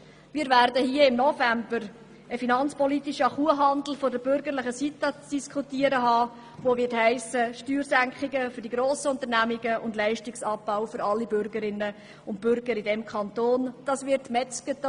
Wir werden im November einen finanzpolitischen Kuhhandel der bürgerlichen Seite zu diskutieren haben, der Steuersenkungen für die grossen Unternehmen und einen Leistungsabbau für alle Bürgerinnen und Bürger dieses Kantons zur Folge hätte.